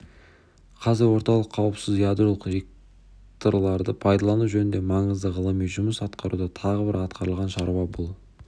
қазір орталық қауіпсіз ядролық реакторларды пайдалану жөнінде маңызды ғылыми жұмыс атқаруда тағы бір атқарылған шаруа бұл